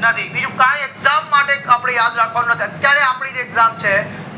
માંથી બીજું કયજ exam માટે યાદ રાખવાનું નથી અત્યારે આપડી જે exam છે